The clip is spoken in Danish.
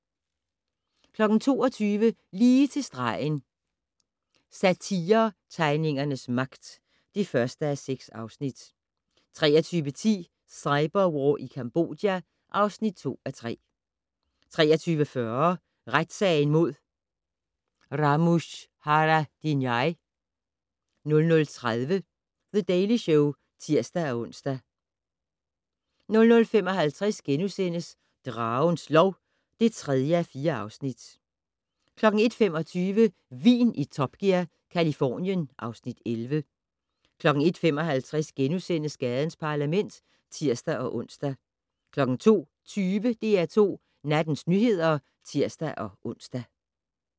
22:00: Lige til stregen - Satiretegningernes magt (1:6) 23:10: Cyberwar i Cambodja (2:3) 23:40: Retssagen mod Ramush Haradinaj 00:30: The Daily Show (tir-ons) 00:55: Dragens lov (3:4)* 01:25: Vin i Top Gear - Californien (Afs. 11) 01:55: Gadens Parlament *(tir-ons) 02:20: DR2 Nattens nyheder (tir-ons)